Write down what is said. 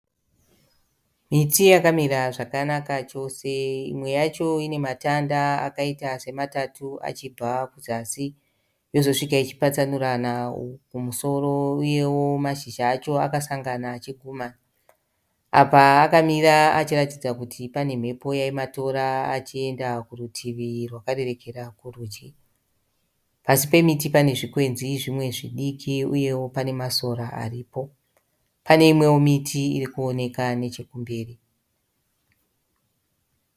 Miti yakamira zvakanaka chose. Imwe yacho ine matanda akaita sematatu achibva kuzasi yozosvika ichipatsanurana kumusoro uyewo mazhizha acho akasangana achigumana. Apa akamira achiratidza kuti pane mhepo yaimatora achienda kurutivi rwakarerekera kurudyi. Pasi pemiti pane zvikwenzi zvimwe zvidiki uyewo pane masora aripo. Pane imwewo miti iri kuoneka nechekumberi.